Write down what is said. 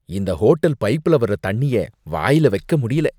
இந்த ஹோட்டல் பைப்புல வர தண்ணிய வாயில வைக்க முடியல.